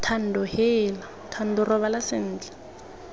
thando heela thando robala sentle